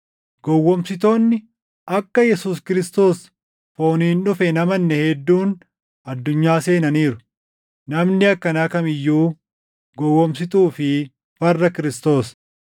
Gowwoomsitoonni akka Yesuus Kiristoos fooniin dhufe hin amanne hedduun addunyaa seenaniiru. Namni akkanaa kam iyyuu gowwoomsituu fi farra Kiristoos.